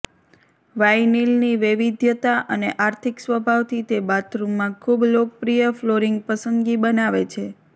વાઈનિલની વૈવિધ્યતા અને આર્થિક સ્વભાવથી તે બાથરૂમમાં ખૂબ લોકપ્રિય ફ્લોરિંગ પસંદગી બનાવે છે